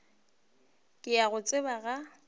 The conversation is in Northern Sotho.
ke a go tseba ga